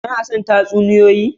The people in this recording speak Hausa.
Kana son tatsuniyoyi?